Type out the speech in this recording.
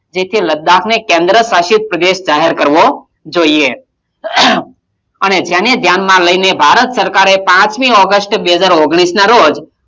તેથી લદ્દાકને કેન્દ્ર્શાસિત પ્રદેશ જાહેર કરવો જોઇયે. અને તેને ધ્યાનમાં લઈને ભારત સરકારે પાંચમી ઓગસ્ટ બે હજાર ઓગણીસનાં રોજ,